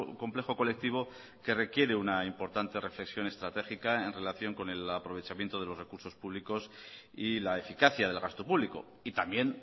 complejo colectivo que requiere una importante reflexión estratégica en relación con el aprovechamiento de los recursos públicos y la eficacia del gasto público y también